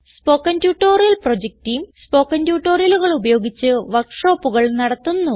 spoken tutorial project team spoken ട്യൂട്ടോറിയലുകൾ ഉപയോഗിച്ച് work ഷോപ്പുകൾ നടത്തുന്നു